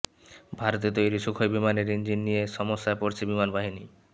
ভারতে তৈরি সুখোই বিমানের ইঞ্জিন নিয়ে সমস্যায় পড়েছে বিমান বাহিনী